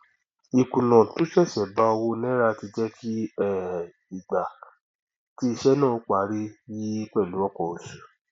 ìkùnà tó ṣẹṣẹ bá owó náírà tí jẹ kí um ìgbà tí iṣẹ náà óó parí yi pẹlú ọpọ oṣù